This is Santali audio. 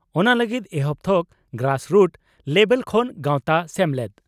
ᱚᱱᱟ ᱞᱟᱹᱜᱤᱫ ᱮᱦᱚᱵ ᱛᱷᱚᱠ (ᱜᱨᱟᱥᱨᱩᱴ ᱞᱮᱵᱮᱞ) ᱠᱷᱚᱱ ᱜᱟᱣᱛᱟ/ᱥᱮᱢᱞᱮᱫ